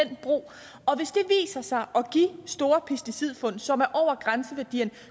den brug og sig at give store pesticidfund som over grænseværdierne